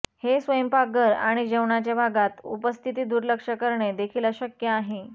हे स्वयंपाकघर आणि जेवणाचे भागात उपस्थिती दुर्लक्ष करणे देखील अशक्य आहे